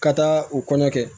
Ka taa u kɔnɔ kɛ